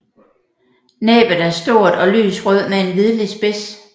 Næbet er stort og lys rød med en hvidlig spids